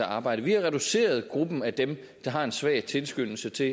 arbejde vi har reduceret gruppen af dem der har en svag tilskyndelse til